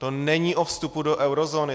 To není o vstupu do eurozóny.